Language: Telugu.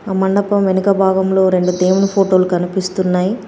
ఆ మండపం వెనక భాగంలో రెండు దేవుని ఫొటోలు కనిపిస్తున్నాయి.